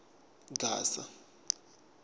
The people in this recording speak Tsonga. gasa